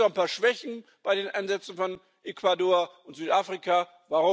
Natürlich gibt es auch ein paar Schwächen bei den Ansätzen von Ecuador und Südafrika,